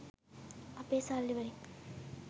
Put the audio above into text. අපේ සල්ලි වලින්